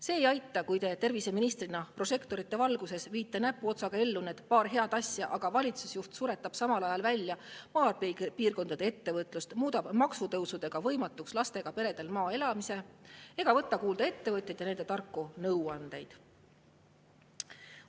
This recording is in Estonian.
See ei aita, kui te terviseministrina prožektorite valguses viite nagu näpuotsaga ellu paar head asja, aga valitsusjuht suretab samal ajal välja maapiirkondade ettevõtlust, muudab maksutõusudega võimatuks lastega peredel maal elamise ega võta kuulda ettevõtjaid ja nende tarku nõuandeid.